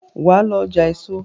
wá ló ọjà èso!